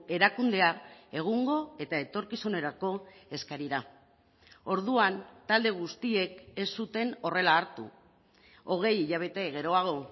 erakundea egungo eta etorkizunerako eskarira orduan talde guztiek ez zuten horrela hartu hogei hilabete geroago